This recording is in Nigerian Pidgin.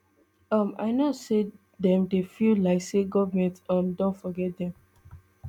um i know say dem dey feel like say goment um don forget dem